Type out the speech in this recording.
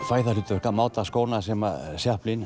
fæ það hlutverk að máta skóna sem